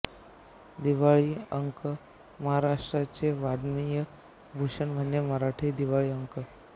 दिवाळी अंक महारा़्ष्ट्राचे वाङ्मयीन भूषण म्हणजे मराठी दिवाळी अंक